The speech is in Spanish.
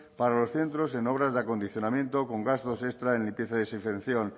para los centros en obras de acondicionamiento con gastos extra en limpieza y desinfección